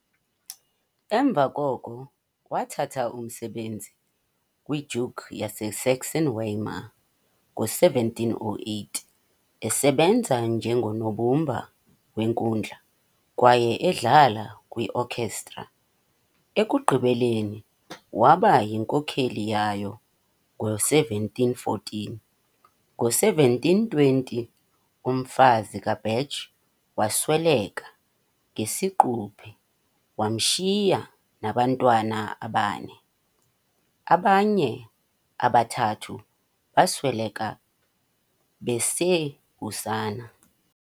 Emva koko wathatha umsebenzi kwi-Duke yase Sachsen-Weimar ngo-1708, esebenza njengonobumba wenkundla kwaye edlala kwi-okhestra, ekugqibeleni waba yinkokheli yayo ngo-1714. Ngo-1720, umfazi kaBach wasweleka ngesiquphe, wamshiya nabantwana abane, abanye abathathu basweleka besebusana.